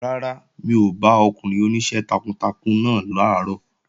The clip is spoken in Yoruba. Rárá, mi ò bá ọkùnrin oníṣẹ́ takuntakun náà làárọ̀